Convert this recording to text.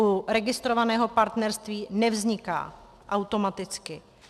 U registrovaného partnerství nevzniká automaticky.